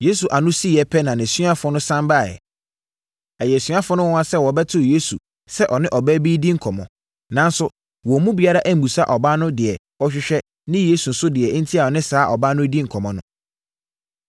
Yesu ano siiɛ pɛ na nʼasuafoɔ no sane baeɛ. Ɛyɛɛ asuafoɔ no nwanwa sɛ wɔbɛtoo Yesu sɛ ɔne ɔbaa bi redi nkɔmmɔ. Nanso, wɔn mu biara ammisa ɔbaa no deɛ ɔrehwehwɛ ne Yesu nso deɛ enti a ɔne saa ɔbaa no redi nkɔmmɔ no.